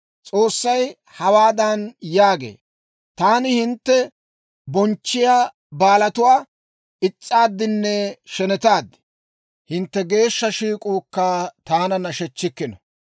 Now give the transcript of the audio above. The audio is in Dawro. S'oossay hawaadan yaagee; «Taani hintte bonchchiyaa baalatuwaa is's'aaddinne shenetaad; hintte geeshsha shiik'uukka taana nashechchikkino.